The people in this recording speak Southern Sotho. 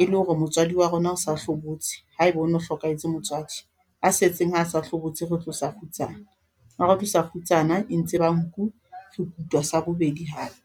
e le hore motswadi wa rona o sa hlobotse, ha e ba ho no hlokahetse motswadi a setseng ha sa hlobotse, re tlosa kgutsana ha re tlosa kgutsana e ntse ba nku re kutwa sa bobedi hape.